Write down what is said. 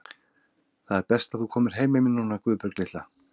Það er best þú komir heim með mér núna, Guðbjörg litla.